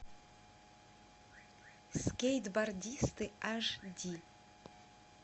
скейтбордисты аш ди